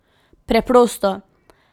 Preprosto.